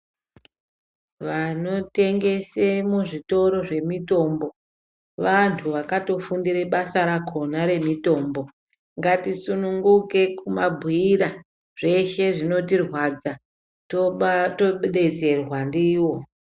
Vanotengesa muzvitoro zvemitombo anhu akatofundira basa rakona remitombo katisununguke kumabhuyira zveshe zvinotirwadza tobetserwa ndivo